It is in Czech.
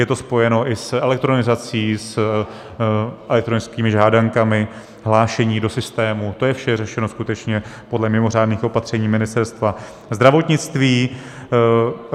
Je to spojeno i s elektronizací, s elektronickými žádankami, hlášení do systému, to je vše řešeno skutečně podle mimořádných opatření Ministerstva zdravotnictví.